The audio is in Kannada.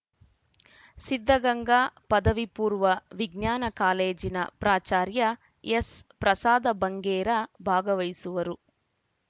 ಸಿದ್ಧಗಂಗಾ ಪದವಿ ಪೂರ್ವ ವಿಜ್ಞಾನ ಕಾಲೇಜಿನ ಪ್ರಾಚಾರ್ಯ ಎಸ್‌ಪ್ರಸಾದ ಬಂಗೇರ ಭಾಗವಹಿಸುವರು